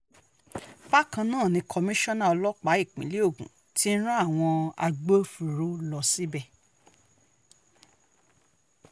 bákan náà ni komisanna ọlọ́pàá ìpínlẹ̀ ogun ti rán àwọn agbófinró lọ síbẹ̀